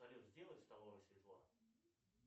салют сделай в столовой светло